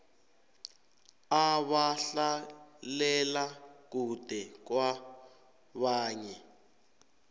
abahlalela kude kwabanye